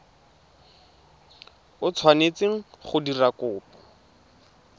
o tshwanetseng go dira kopo